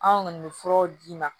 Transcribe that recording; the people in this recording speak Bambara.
Anw kɔni bɛ furaw d'i ma